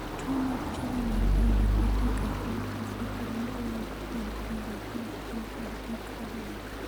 tuo mar juvenile idiopathic arthritis iparo ni owuok kuom riwruok mar jin kod gik aluora